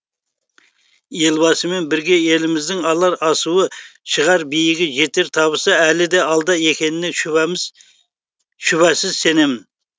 елбасымен бірге еліміздің алар асуы шығар биігі жетер табысы әлі де алда екеніне шүбәсіз сенемін